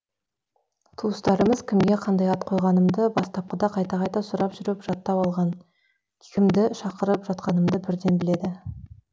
туыстарымыз кімге қандай ат қойғанымды бастапқыда қайта қайта сұрап жүріп жаттап алған кімді шақырып жатқанымды бірден біледі